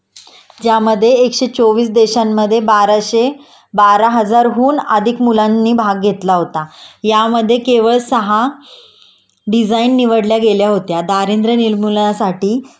त्यामधे एकशे चोवीस देशांमध्ये बाराशे बारा हजारहून अधिक मुलांनी भाग घेतला होता.यामध्ये केवळ सहा डिझाईन नवडल्या गेल्या होत्या. दारिद्र्य निर्मूलनासाठी